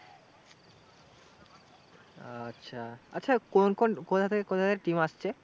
আচ্ছা, আচ্ছা কোনো কোনো কোথা থেকে কোথা থেকে team আসছে?